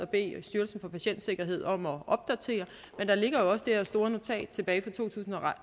beder styrelsen for patientsikkerhed om at opdatere men der ligger jo også det her store notat tilbage fra to tusind og